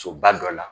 Soba dɔ la